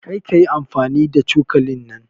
Kar kayi amfani da cokalin nan.